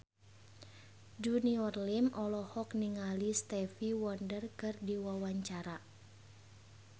Junior Liem olohok ningali Stevie Wonder keur diwawancara